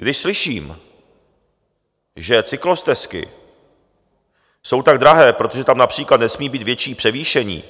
Když slyším, že cyklostezky jsou tak drahé, protože tam například nesmí být větší převýšení